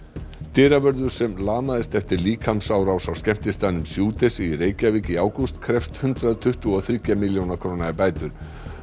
dyravörður sem lamaðist eftir líkamsárás á skemmtistaðnum í Reykjavík í ágúst krefst hundrað tuttugu og þriggja milljóna króna í bætur